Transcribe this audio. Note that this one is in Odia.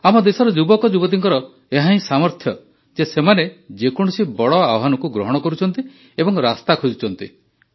ଆମ ଦେଶର ଯୁବକଯୁବତୀଙ୍କର ଏହାହିଁ ସାମର୍ଥ୍ୟ ଯେ ସେମାନେ ଯେକୌଣସି ବଡ଼ ଆହ୍ୱାନକୁ ଗ୍ରହଣ କରୁଛନ୍ତି ଏବଂ ରାସ୍ତା ଖୋଜୁଛନ୍ତି